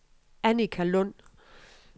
Annika Lund